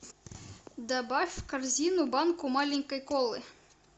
добавь в корзину банку маленькой колы